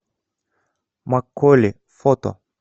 макколи фото